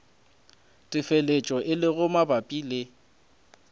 telefatšo e lego mabapi le